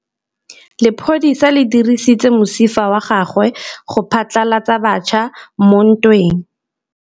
Lepodisa le dirisitse mosifa wa gagwe go phatlalatsa batšha mo ntweng.